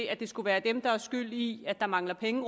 at skulle være dem der er skyld i at der mangler penge